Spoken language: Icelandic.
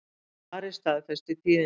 Ari staðfesti tíðindin.